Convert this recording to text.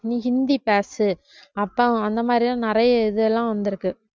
நீ ஹிந்தி பேசு அப்போம் அந்த மாதிரி எல்லாம் நிறைய இதெல்லாம் வந்திருக்கு